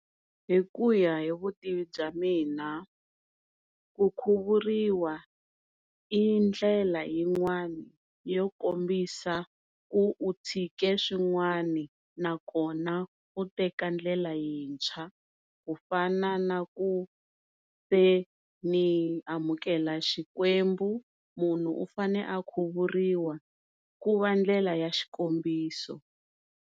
Hikuya hi vutivi bya mina ku khuvuriwa i ndlela yin'wana yo kombisa ku u tshike swin'wani na kona u teka ndlela yintshwa ku fana na ku se ni amukela xikwembu munhu u fane a khuvuriwa ku va ndlela ya xikombiso.